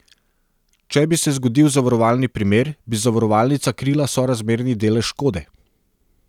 Če bi se zgodil zavarovalni primer, bi zavarovalnica krila sorazmerni delež škode.